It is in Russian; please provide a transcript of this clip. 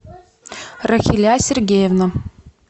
рахиля сергеевна